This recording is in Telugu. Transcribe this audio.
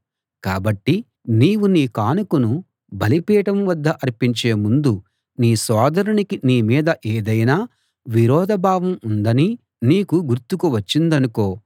కాబట్టి నీవు నీ కానుకను బలిపీఠం వద్ద అర్పించే ముందు నీ సోదరునికి నీ మీద ఏదైనా విరోధ భావం ఉందని నీకు గుర్తుకు వచ్చిందనుకో